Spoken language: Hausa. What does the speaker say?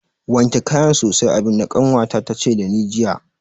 Wanke kayan sosai abin da kanwata ta ce da ni jiya